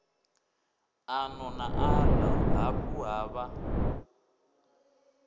ano na aḽa hafhu havha